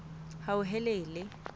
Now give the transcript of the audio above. hauhelele